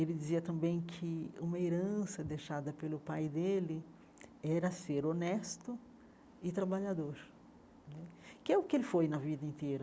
Ele dizia também que uma herança deixada pelo pai dele era ser honesto e trabalhador né, que é o que ele foi na vida inteira.